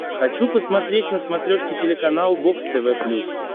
хочу посмотреть на смотрешке телеканал бокс тв плюс